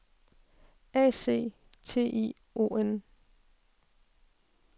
A C T I O N